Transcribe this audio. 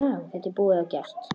Þetta er búið og gert.